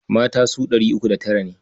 Mata su ɗari uku da tara ne.